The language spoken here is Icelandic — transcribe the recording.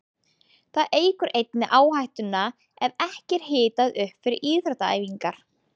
Það eykur einnig áhættuna ef ekki er hitað upp fyrir íþróttaæfingar.